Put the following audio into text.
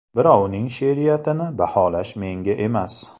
Birovning she’riyatini baholash menga emas.